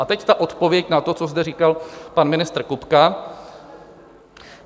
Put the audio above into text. A teď ta odpověď na to, co zde říkal pan ministr Kupka.